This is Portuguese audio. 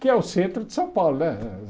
que é o centro de São Paulo né eh.